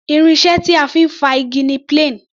Irin iṣẹ́ tí a fi ń fá igi ni plane.